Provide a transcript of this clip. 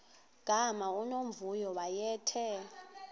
gama unomvuyo wayethe